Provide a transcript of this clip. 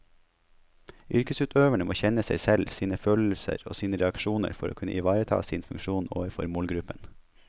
Yrkesutøverne må kjenne seg selv, sine følelser og sine reaksjoner for å kunne ivareta sin funksjon overfor målgruppen.